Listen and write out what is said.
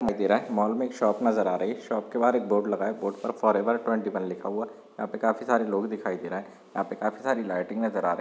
दे रहा मॉल मे एक शॉप नजर आ रही है शॉप के बाहर एक बोर्ड लगा हुआ है बोर्ड पर फॉरएवर ट्वेंटी वन लिखा हुआ है यहा पे काफी सरे लोग दिखाई दे रहे है यहा पे काफी सारी लाइटिंग नजर आ रही।